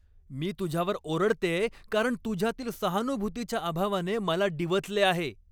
मी तुझ्यावर ओरडतेय कारण तुझ्यातील सहानुभूतीच्या अभावाने मला डिवचले आहे.